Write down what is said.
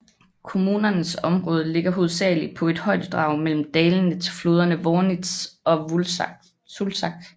Kommunens område ligger hovedsageligt på et højdedrag mellem dalene til floderne Wörnitz og Sulzach